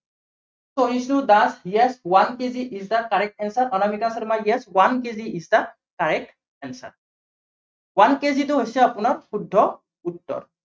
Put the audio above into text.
Biju Das yes, one kg is the correct answer Anamika Sharma yes, one kg is the correct answer one kg টো হৈছে আপোনাৰ শুদ্ধ উত্তৰ।